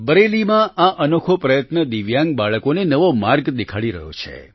બરેલીમાં આ અનોખો પ્રયત્ન દિવ્યાંગ બાળકોને નવો માર્ગ દેખાડી રહ્યો છે